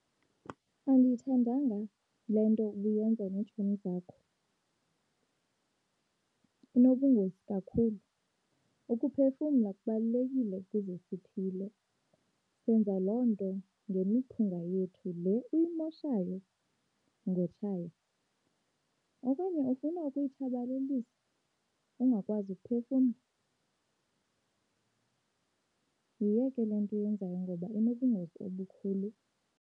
Andiyithandanga le nto ubuyenza neetshomi zakho, inobungozi kakhulu. Ukuphefumla kubalulekile ukuze siphile, senza loo nto ngemiphunga yethu le uyimoshayo ngotshaya. Okanye ufuna ukuyitshabalalisa, ungakwazi ukuphefumla? Yiyeke le nto uyenzayo ngoba inobungozi obukhulu.